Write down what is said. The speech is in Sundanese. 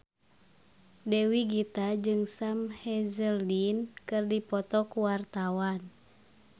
Dewi Gita jeung Sam Hazeldine keur dipoto ku wartawan